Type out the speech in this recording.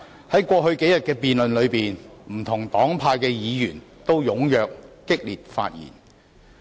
在過去數天的辯論中，不同黨派的議員均踴躍及激烈發言。